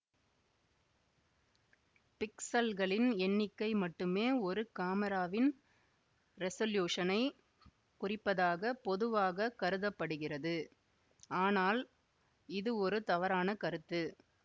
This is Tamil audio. பிக்சல்களின் எண்ணிக்கை மட்டுமே ஒரு காமிராவின் ரெசொல்யூஷனைக் குறிப்பதாக பொதுவாக கருத படுகிறது ஆனால் இது ஒரு தவறான கருத்து